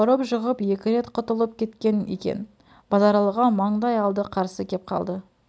ұрып жығып екі рет құтылып кеткен екен базаралыға маңдай алды қарсы кеп қалды